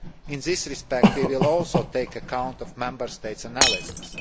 In this respect, we will also take account of Member States' analysis.